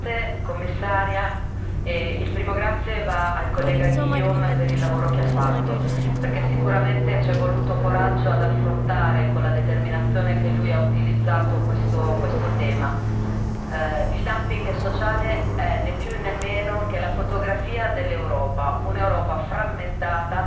Signora Presidente, onorevoli colleghi, gentile Commissaria, il primo grazie va al collega Guillaume per il lavoro che ha fatto, perché sicuramente c'è voluto coraggio ad affrontare con la determinazione che lui ha utilizzato questo tema. Il dumping sociale è né più e né meno che la fotografia dell'Europa, un'Europa frammentata,